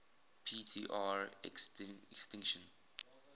p tr extinction